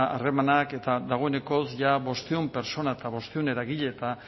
harremanak eta dagoeneko jada bostehun pertsona eta bostehun eragile eta